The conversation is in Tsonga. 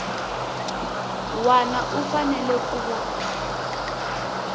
wana u fanele ku va